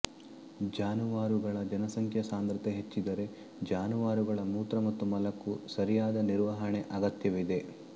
ಜಾನುವಾರುಗಳ ಜನಸಂಖ್ಯಾ ಸಾಂದ್ರತೆ ಹೆಚ್ಚಿದ್ದರೆ ಜಾನುವಾರುಗಳ ಮೂತ್ರ ಮತ್ತು ಮಲಕ್ಕೂ ಸರಿಯಾದ ನಿರ್ವಹಣೆ ಅಗತ್ಯವಿದೆ